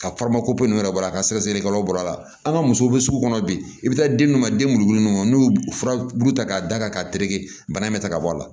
Ka ninnu yɛrɛ bɔ a ka sɛgɛsɛgɛlikɛlaw bɔra a la an ka musow be sugu kɔnɔ bi i bɛ taa di minnu ma den mun n'u furabulu ta k'a da ka tereke bana in bɛ ta ka bɔ a la